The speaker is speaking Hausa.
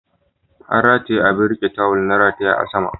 An rataye abin riƙe tawul na rataye a sama